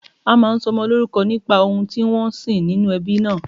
A máa ń sọmọ lórúkọ nípa ohun tí wọ́n ń sìn nínú ẹbí náà